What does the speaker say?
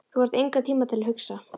Þú þarft engan tíma til að hugsa.